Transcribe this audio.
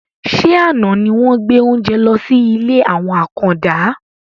Ṣé àna ni wọn gbé oúnjẹ lọ sí ilé àwọn àkàndá?